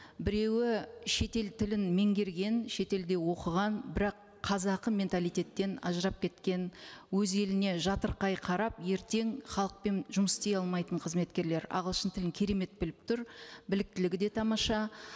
біреуі шетел тілін меңгерген шетелде оқыған бірақ қазақы менталитеттен ажырап кеткен өз еліне жатырқай қарап ертең халықпен жұмыс істей алмайтын қызметкерлер ағылшын тілін керемет біліп тұр біліктілігі де тамаша